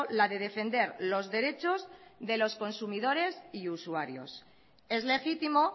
la de defender los derechos de los consumidores y usuarios es legítimo